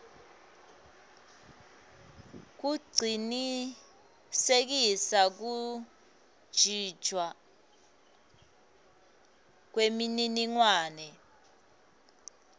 kucinisekisa kuntjintjwa kwemininingwane